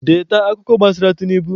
Deeta akụkọ gbasara Tinubu!